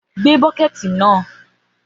Gbé bọ́kẹ́tì náà!